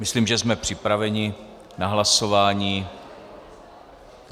Myslím, že jsme připraveni na hlasování.